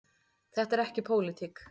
Þetta er ekki pólitík.